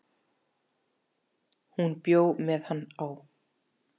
Hún bjó með hann á